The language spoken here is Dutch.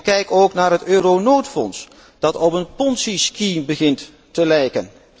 Kijk ook naar het euronoodfonds, dat op een Ponzi Scheme begint te lijken.